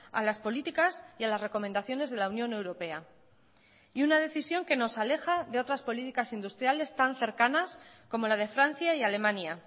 a las políticas y a las recomendaciones de la unión europea y una decisión que nos aleja de otras políticas industriales tan cercanas como la de francia y alemania